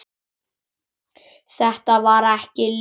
Þetta var ekki Lilla.